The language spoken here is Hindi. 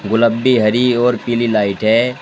गुलाबी हरि और पीली लाइट है।